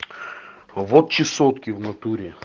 вот чесотки в натуре